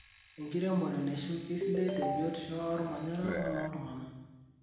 Enkiremore naishu keisidai te biotisho ormanyara wonooltunganak.